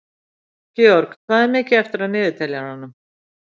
Georg, hvað er mikið eftir af niðurteljaranum?